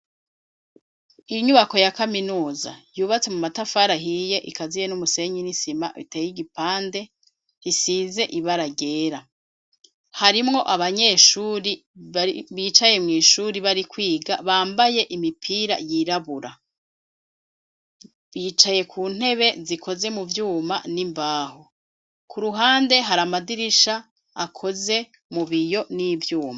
Inyubako ya kaminuza, yubatse mu matafari ahiye, ikaziye n'umusenyi n'isima, iteye igipande, isize ibara ryera; harimwo abanyeshuri, bicaye mw'ishuri, bari kwiga, bambaye imipira yirabura; bicaye ku ntebe zikoze mu vyuma, n'imbaho; ku ruhande hari amadirisha, akoze mu biyo, n'ivyuma.